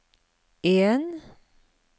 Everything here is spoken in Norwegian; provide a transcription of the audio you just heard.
en